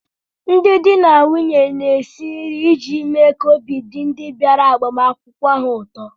Ndị di na nwunye na-esi nri iji mee ka obi dị ndị bịara agbamakwụkwọ ha ụtọ